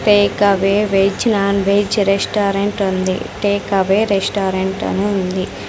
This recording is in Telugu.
Take away veg non veg restaurant ఉంది టేక్ అవే రెస్టారెంట్ అని ఉంది.